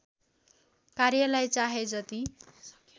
कार्यलाई चाहे जति